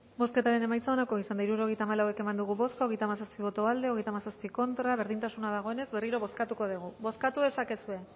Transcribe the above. bozketaren emaitza onako izan da hirurogeita hamalau eman dugu bozka hogeita hamazazpi boto aldekoa treinta y siete contra berdintasuna dagoenez berriro bozkatuko degu bozkatu dezakezue